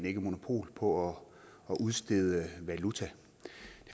ikke monopol på at udstede valuta det